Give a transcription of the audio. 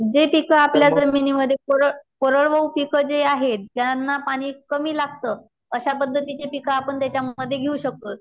जे पीक आपल्या जमिनी मध्ये कोरड कोरडवाहू पीक जे आहे त्यांना पाणी कमी लागत अशा पद्धतीतचे पीक आपण त्याच्या मध्ये घेऊ शकतो.